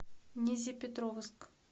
нязепетровск